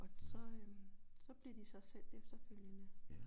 Og så øh så bliver de så sendt efterfølgende